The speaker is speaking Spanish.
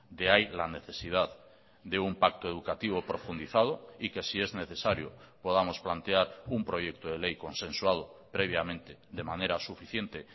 de ahí la necesidad de un pacto educativo profundizado y que si es necesario podamos plantear un proyecto de ley consensuado previamente de manera suficiente